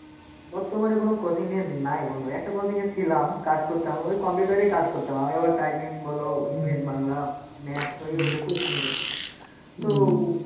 বর্তমানে কোনো coaching -এ নাই বন্ধু। একটা coaching -এ ছিলাম, কাজ করতাম, ওই coumputer এই কাজ করতাম। আমি আবার typing বলো, English, বাংলা, Maths, ওই ওদের question করতাম। তো